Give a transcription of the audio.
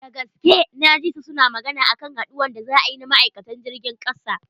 Dagaske na ji su suna magana akan haduwan da za a yi na ma'aikatan jirgin kasa.